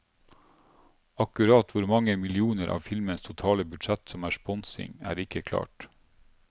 Akkurat hvor mange millioner av filmens totale budsjett som er sponsing, er ikke klart.